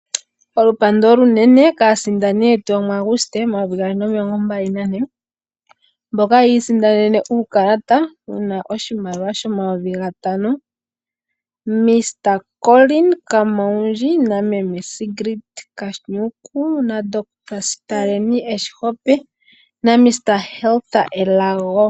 Olupandu olunene kaasindani yetu yomu Auguste 2024, mboka yiisindanene uukalata wuna oshimaliwa 5000, ● Mr Collin Kamaundju ● Meme Sigrid T. Kanhuku ● Dr Sitahani E Sihope ● Miss Hertha Elago